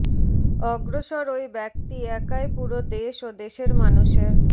অগ্রসর ওই ব্যক্তি একাই পুরো দেশ ও দেশের মানুষের